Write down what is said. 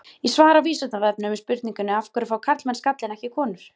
Í svari á Vísindavefnum við spurningunni Af hverju fá karlmenn skalla en ekki konur?